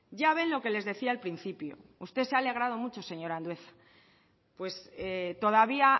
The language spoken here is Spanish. ya ven lo que les decía al principio usted se ha alegrado mucho señor andueza pues todavía